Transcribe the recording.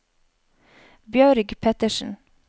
Bjørg Pettersen